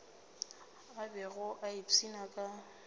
a bego a ipshina ka